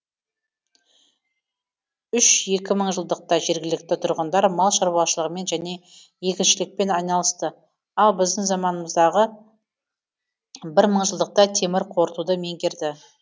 үш екі мыңжылдықта жергілікті тұрғындар мал шаруашылығымен және егіншілікпен айналысты ал біздің заманымыздағы бір мыңжылдықта темір қорытуды меңгерді